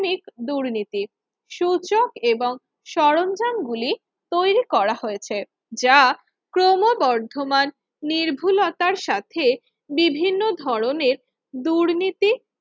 মিক দুর্নীতি সূচক এবং সরঞ্জাম গুলি তৈরি করা হয়েছে যা ক্রমবর্ধমান নির্ভুলতার সাথে বিভিন্ন ধরনের দুর্নীতি